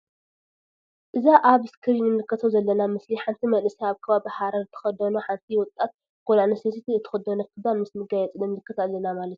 እዛ አብ እስክሪን እንምልከቶ ዘለና ምስሊ ሓንቲ መንእሰይ አብ ከባቢ ሃረር ትክደኖ ሓንቲ ወጣት ጋል አንስተይቲ እትክደኖ ክዳን ምስ መጋየፂ ንምልከት አለና ማለት እዩ::